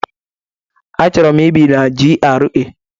Achọrọ m ibi na GRA.